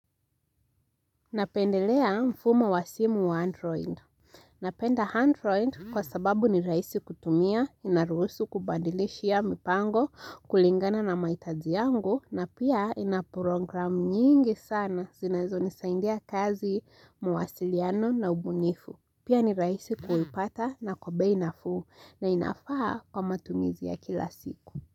Napendelea mfumo wa simu wa android. Napenda android kwa sababu ni rahisi kutumia, inaruhusu kubandilishia mipango, kulingana na mahitaji yangu na pia inaprogram nyingi sana zinazonisaidia kazi mawasiliano na ubunifu. Pia ni raisi kuipata na kwa bei nafuu na inafaa kwa matumizi ya kila siku.